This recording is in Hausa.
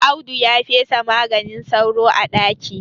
Audu ya fesa maganin sauro a ɗaki